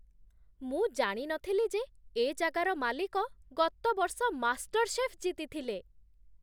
ମୁଁ ଜାଣି ନଥିଲି ଯେ ଏ ଜାଗାର ମାଲିକ ଗତ ବର୍ଷ ମାଷ୍ଟର୍‌ଶେଫ୍ ଜିତିଥିଲେ!